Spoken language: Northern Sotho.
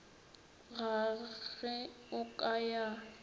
ga ge o ka ya